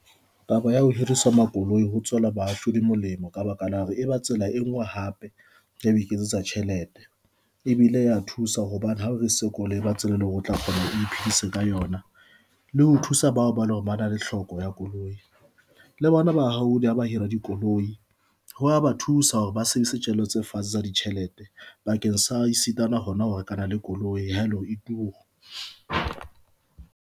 Taba ya ho hirisa makoloi ho tswela bahahlaudi molemo, ka baka la hore e ba tsela e ngwe hape ya ho iketsetsa tjhelete e bile ya thusa hobane ha re se koloi ba tsela e leng hore o tla kgona ho ka yona le ho thusa bao ba le hore ba na le hloko ya koloi le bona bahahlaudi le ha ba hira dikoloi ho ya ba thusa hore ba sebedise tjhelete fatshe sa ditjhelete bakeng sa e sitana hona ho rekana le koloi ebile e turu.